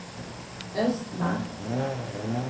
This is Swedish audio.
Östmark